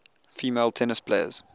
female tennis players